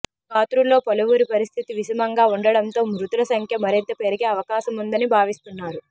క్షతగాత్రుల్లో పలువురి పరిస్థితి విషమంగా ఉండడంతో మృతుల సంఖ్య మరింత పెరిగే అవకాశముందని భావిస్తున్నారు